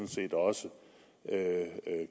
set også